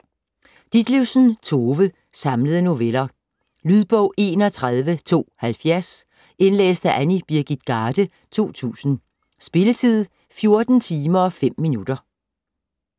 Ditlevsen, Tove: Samlede noveller Lydbog 31270 Indlæst af Annie Birgit Garde, 2000. Spilletid: 14 timer, 5 minutter.